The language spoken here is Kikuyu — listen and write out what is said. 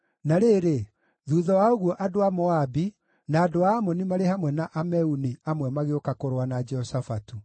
Na rĩrĩ, thuutha wa ũguo, andũ a Moabi, na andũ a Amoni marĩ hamwe na Ameuni amwe magĩũka kũrũa na Jehoshafatu.